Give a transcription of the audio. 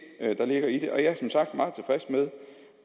der ligger i det og jeg er som sagt meget tilfreds med